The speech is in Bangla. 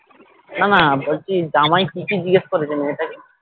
না না জামাই কি কি জিজ্ঞাসা করেছে মেয়েটা কে